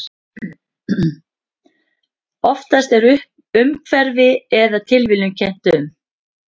Oftast er umhverfi eða tilviljun kennt um.